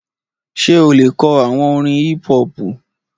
Ṣé o lè kọ àwọn orin hípú-họpù?